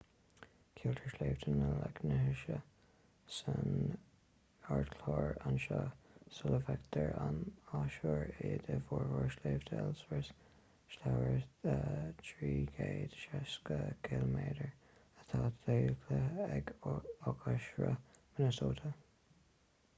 ceiltear sléibhte na leithinse san ardchlár anseo sula bhfeictear an athuair iad i bhfoirm shléibhte ellsworth slabhra 360 km atá deighilte ag oighearshruth minnesota